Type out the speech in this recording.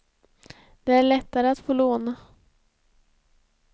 Det är lättare att få lån.